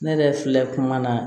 Ne yɛrɛ filɛ kuma na